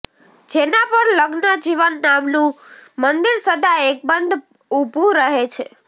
જેના પર લગ્નજીવન નામનું મંદિર સદા અકબંધ ઉભું રહે છે